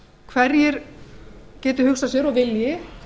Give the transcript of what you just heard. hverjir geti hugsað sér og vilji